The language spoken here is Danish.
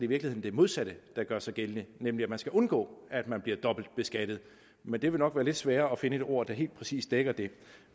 virkeligheden det modsatte der gør sig gældende nemlig at man skal undgå at man bliver dobbeltbeskattet men det vil nok være lidt sværere at finde et ord der helt præcist dækker det